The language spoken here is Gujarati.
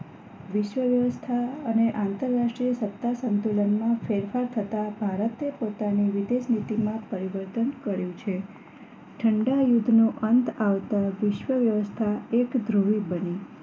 વિશ્વવ્યવસ્થા અને આંતરરાષ્ટ્રીય સત્તા સંતુલનમાં ફેરફાર થતા ભારતે પોતાની વિદેશ મિટિંગ માં પરિવર્તન કર્યું છે ઠંડા યુદ્ધ નો અંત આવતા વિશ્વવ્યવસ્થા એક ધ્રુવી બની